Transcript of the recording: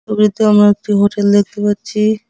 আমরা একটি হোটেল দেখতে পাচ্ছি।